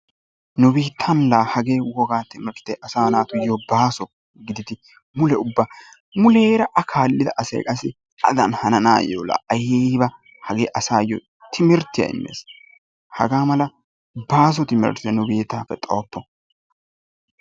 Nu biittan laa hagee wogaa timirtte asaa natuyyo baaso gididi mule ubba muleera a kaallida asati adan hananaayyo laa ayiba hagee asayyo timirttiya immes. Hagee mala baaso timirtte nu biittaappe xayoppo.